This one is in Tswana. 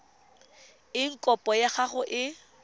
eng kopo ya gago e